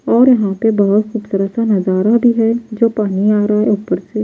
और यहां पे बहुत खूबसूरत सा नजारा भी है जो पानी आ रहा है ऊपर से--